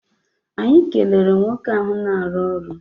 Anyị kelere nwoke ahụ na-arụ ọrụ.